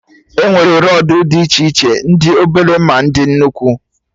Enwere rọdụ dị iche iche, ndị obele, ma ndị nnukwu